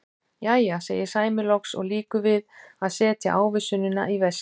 Jæja, segir Sæmi loks og lýkur við að setja ávísunina í veskið.